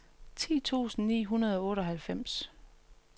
ti tusind ni hundrede og otteoghalvfems